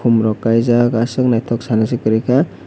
borok kaijak asok naitok sani se koroika.